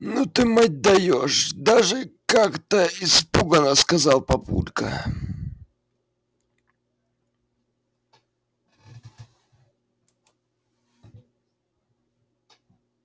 ну ты мать даёшь даже как-то испуганно сказал папулька